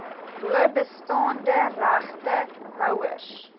bo bestaande regtehouers